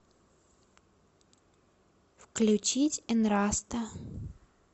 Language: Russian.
включить энраста